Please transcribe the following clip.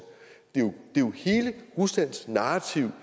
det er jo hele ruslands narrativ